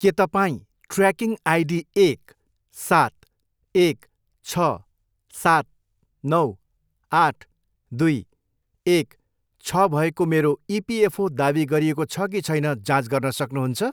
के तपाईँ tracking ID एक, सात, एक, छ, सात, नौ, आठ, दुई, एक, छ भएको मेरो इपिएफओ दावी गरिएको छ कि छैन जाँच गर्न सक्नुहुन्छ ?